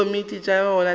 le dikomiti tša yona le